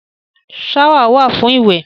Ṣáwà wà fún ìwẹ̀.